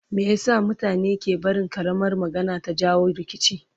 Meye sa mutane ke barin ƙaramar magana ta jawo rikici?